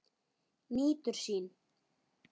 Nýtur sín.